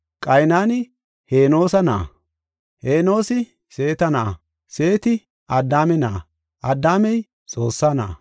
Qaynani Henoosa na7a, Henoosi Seeta na7a, Seeti Addaame na7a, Addaamey Xoossaa na7a.